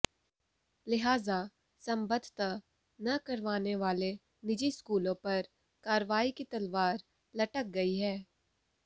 लिहाजा संबद्धता न करवाने वाले निजी स्कूलों पर कार्रवाई की तलवार लटक गई है